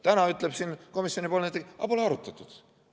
Täna ütleb siin komisjoni ettekandja, et seda polegi arutatud.